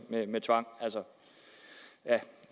tvang